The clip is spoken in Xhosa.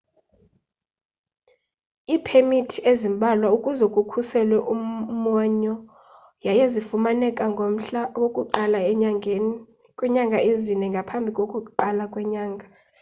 iipemithi zimbalwa ukuze kukhuselwe umwonyo yaye zifumaneka ngomhla woku-1 enyangeni kwiinyanga ezine ngaphambi kokuqala kwenyanga